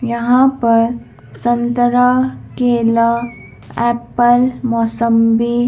यहाँ पर संतरा केला एप्पल मौसंबी--